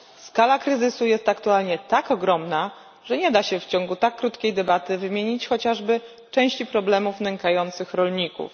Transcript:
Skala kryzysu jest aktualnie tak ogromna, że nie da się w ciągu tak krótkiej debaty wymienić chociażby części problemów nękających rolników.